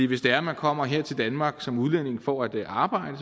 hvis det er at man kommer her til danmark som udlænding for at arbejde